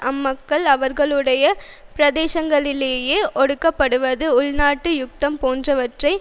அம்மக்கள் அவர்களுடைய பிரதேசங்களிலேயே ஒடுக்கப்படுவது உள்நாட்டு யுத்தம் போன்றவற்றை